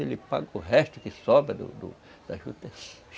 Ele paga o resto que sobra do do da juta.